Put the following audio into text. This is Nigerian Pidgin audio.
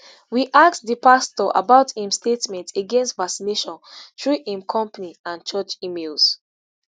we ask di pastor about im statements against vaccination through im company and church emails